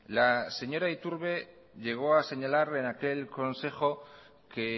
la señora iturbe llegó a señalar en aquel consejo que